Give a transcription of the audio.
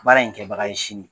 Baara in kɛbaga ye sini